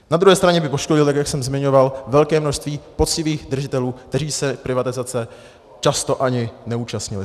Na druhé straně by poškodil, tak jak jsem zmiňoval, velké množství poctivých držitelů, kteří se privatizace často ani neúčastnili.